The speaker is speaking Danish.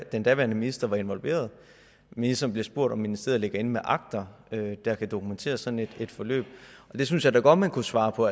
den daværende minister var involveret og ministeren bliver spurgt om ministeriet ligger inde med akter der kan dokumentere sådan et forløb og det synes jeg da godt man kunne svare på